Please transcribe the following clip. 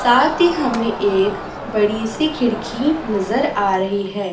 साथ ही हमें एक बड़ी सी खिड़की नजर आ रही है।